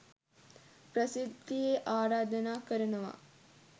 ප්‍රසිද්ධියේ ආරාධනා කරනවා